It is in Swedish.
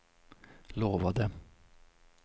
lovade